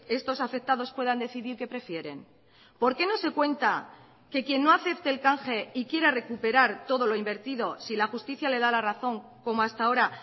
estos afectados puedan decidir qué prefieren por qué no se cuenta que quien no acepte el canje y quiera recuperar todo lo invertido si la justicia le da la razón como hasta ahora